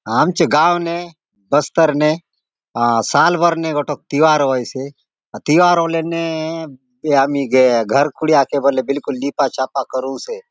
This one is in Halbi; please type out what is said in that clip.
आमचो गांव ने बस्तर ने अ साल भर ने गोटक तिवार होयसे तिवार होलोने यामी न गे घर खुडिया के बिल्कुल लिपा छापा करु से ।